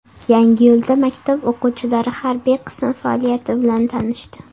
Yangiyo‘lda maktab o‘quvchilari harbiy qism faoliyati bilan tanishdi .